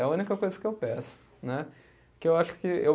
É a única coisa que eu peço né. Que eu acho que eu